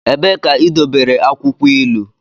Ebee ka idobere akwukwo ilu?